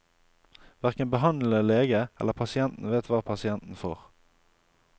Hverken behandlende lege eller pasienten vet hva pasienten får.